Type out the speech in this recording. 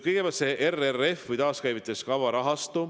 Kõigepealt see RRF või taaskäivitamiskava rahastu.